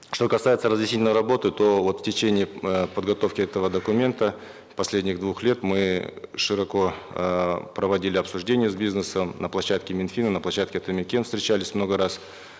что касается разъяснительной работы то вот в течение э подготовки этого документа последних двух лет мы широко эээ проводили обсуждение с бизнесом на площадке мин фина на площадке атамекен встречались много раз